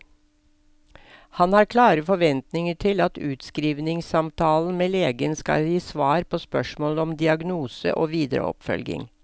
Han har klare forventninger til at utskrivningssamtalen med legen skal gi svar på spørsmål om diagnose og videre oppfølging.